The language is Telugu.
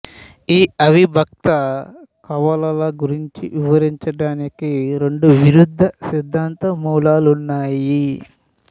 ఈ అవిభక్త కవలల గూర్చి వివరించడానికి రెండు విరుద్ధ సిద్ధాంత మూలాలున్నాయి